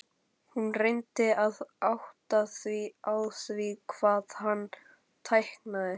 Hún reyndi að átta sig á því hvað hann táknaði.